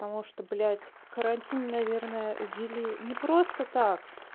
потому что блять карантин наверное ввели не просто так